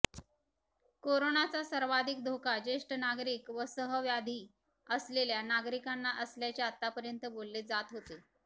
कोरोनाचा सर्वाधिक धोका ज्येष्ठ नागरिक व सहव्याधी असलेल्या नागरिकांना असल्याचे आतापर्यंत बोलले जात होते